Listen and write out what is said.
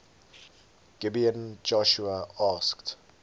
gibeon joshua asked